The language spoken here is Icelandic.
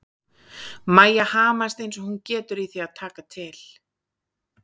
Mæja hamast eins og hún getur í því að taka til.